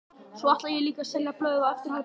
Svo ætla ég líka að selja blöð eftir hádegi.